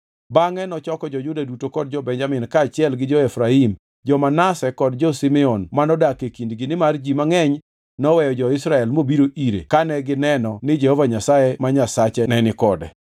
Bangʼe nochoko jo-Juda duto kod jo-Benjamin kaachiel gi jo-Efraim, jo-Manase kod jo-Simeon manodak e kindgi nimar ji mangʼeny noweyo jo-Israel mobiro ire kane gineno ni Jehova Nyasaye ma Nyasache nenikode.